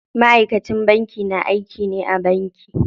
Ma'aikacin banki na aiki ne a banki.